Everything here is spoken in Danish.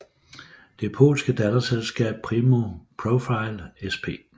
Det polske datterselskab Primo Profile Sp